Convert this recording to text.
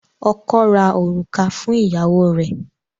Ọkọ́ ra òrùka fún ìyàwó rẹ.